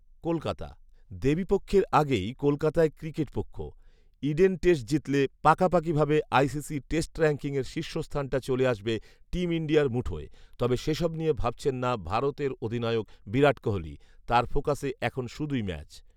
কলকাতা, দেবীপক্ষের আগেই কলকাতায় ক্রিকেটপক্ষ৷ ইডেন টেস্ট জিতলে পাকাপাকিভাবে আইসিসি টেস্ট র‍্যাঙ্কিংয়ের শীর্ষস্থানটা চলে আসবে টিম ইন্ডিয়ার মুঠোয়৷ তবে, সেসব নিয়ে ভাবছেন না ভারতের অধিনায়ক বিরাট কোহলি৷ তাঁর ফোকাসে এখন শুধুই ম্যাচ৷